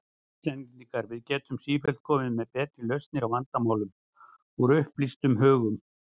Íslendingar, að við gætum sífellt komið með betri lausnir á vandamálum, úr upplýstum hugum.